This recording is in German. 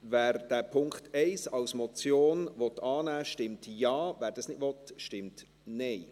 Wer diesen Punkt 1 als Motion annehmen will, stimmt Ja, wer das nicht will, stimmt Nein.